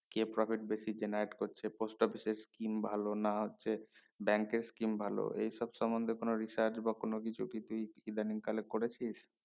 কে profit বেশি generate করছে post office এ scheme ভালো না হচ্ছে bank এর scheme ভালো এ সব সমন্ধে কোনো research বা কোনো কিছু ইদানিং কালে করেছিস